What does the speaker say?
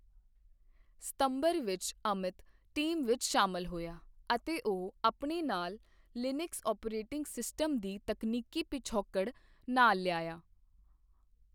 ਸਤੰਬਰ ਵਿੱਚ ਅਮਿਤ ਟੀਮ ਵਿੱਚ ਸ਼ਾਮਲ ਹੋਇਆ, ਅਤੇ ਉਹ ਆਪਣੇ ਨਾਲ ਲੀਨਕਸ ਓਪਰੇਟਿੰਗ ਸਿਸਟਮ ਦੀ ਤਕਨੀਕੀ ਪਿਛੋਕੜ ਨਾਲ ਲਿਆਇਆ।